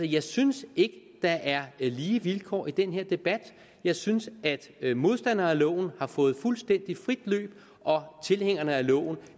jeg synes ikke at der er lige vilkår i den her debat jeg synes at modstanderne af loven har fået fuldstændig frit løb og at tilhængerne af loven